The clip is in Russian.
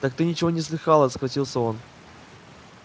так ты ничего не слыхала схватился он